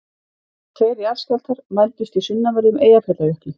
Tveir jarðskjálftar mældust í sunnanverðum Eyjafjallajökli